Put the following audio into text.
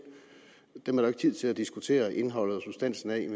dem er der jo ikke tid til at diskutere indholdet og substansen af i en